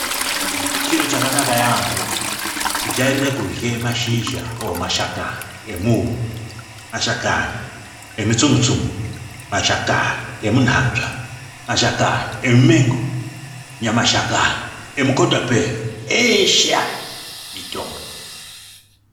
Chiro chakanaka yaamho, kujairira kurye mashizha mashakani emuuyu, mashakani emitsungu-tsungu, mashakani emunhanzva, mashakani emumengo nemashakani emukatapeya. Eshe aya mitombo.